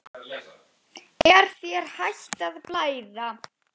Er þér hætt að blæða?